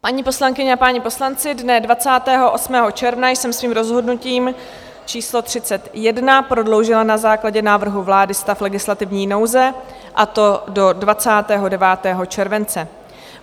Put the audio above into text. Paní poslankyně a páni poslanci, dne 28. června jsem svým rozhodnutím číslo 31 prodloužila na základě návrhu vlády stav legislativní nouze, a to do 29. července.